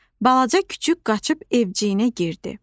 Balaca küçüк qaçıb evciyinə girdi.